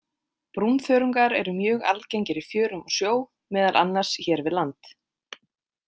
Brúnþörungar eru mjög algengir í fjörum og sjó, meðal annars hér við land.